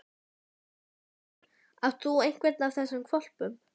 Magnús Hlynur: Átt þú einhvern af þessum hvolpum?